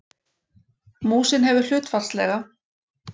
Músin hefur hlutfallslega